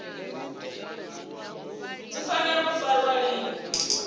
dzi fanela u farwa lini